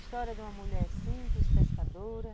História de uma mulher simples, pescadora.